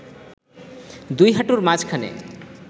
দুই হাঁটুর মাঝখানে